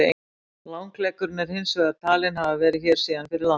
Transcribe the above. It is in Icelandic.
Langleggurinn er hins vegar talinn hafa verið hér síðan fyrir landnám.